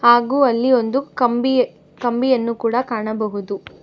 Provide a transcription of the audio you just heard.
ಹಾಗು ಅಲ್ಲಿ ಒಂದು ಕಂಬಿ ಕಂಬಿಯನ್ನು ಕೂಡ ಕಾಣಬಹುದು.